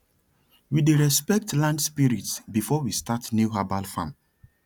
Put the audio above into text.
we dey respect land spirits before we start new herbal farm